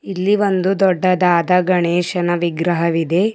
ಇಲ್ಲಿ ಒಂದು ದೊಡ್ಡದಾದ ಗಣೇಶನ ವಿಗ್ರಹವಿದೆ.